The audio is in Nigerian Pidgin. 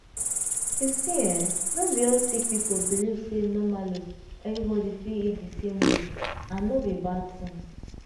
you see eh not be all sick people believe say normally everybody fit eat di same way and no be bad tin.